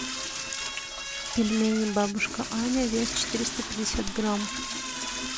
пельмени бабушка аня вес четыреста пятьдесят грамм